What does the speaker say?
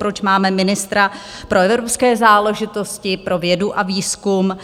Proč máme ministra pro evropské záležitosti, pro vědu a výzkum,